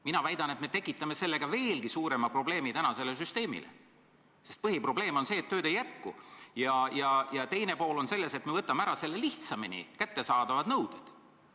Mina väidan, et me tekitame sellega veelgi suurema probleemi sellele süsteemile, sest põhiprobleem on see, et tööd ei jätku, ja probleemi teine pool on selles, et me võtame ära lihtsamini kättesaadavad nõuded.